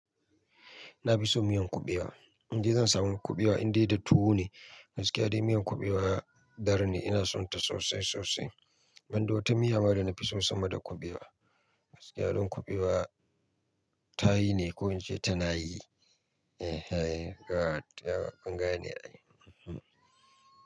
Na fi so miyan kuɓewa. In ji zan samu kuɓewa indai da tuwo ne. Gaskiya dai miyan kuɓewa dar ne. Ina sonta sosai sosai. Ban da wata miya ma da na fi so sama da kuɓewa. Gaskiya don kuɓewa ta yi ne ko in ce ta na yi? Eh he, good yauwa kunnga ne ai.